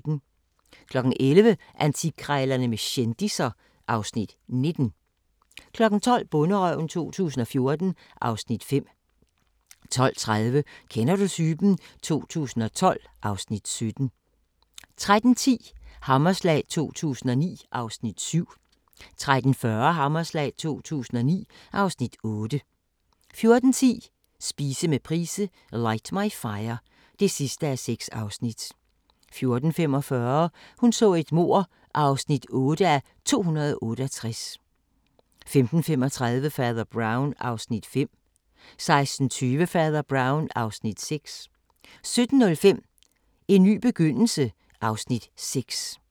11:00: Antikkrejlerne med kendisser (Afs. 19) 12:00: Bonderøven 2014 (Afs. 5) 12:30: Kender du typen? 2012 (Afs. 17) 13:10: Hammerslag 2009 (Afs. 7) 13:40: Hammerslag 2009 (Afs. 8) 14:10: Spise med Price - Light my Fire (6:6) 14:45: Hun så et mord (8:268) 15:35: Fader Brown (Afs. 5) 16:20: Fader Brown (Afs. 6) 17:05: En ny begyndelse (Afs. 6)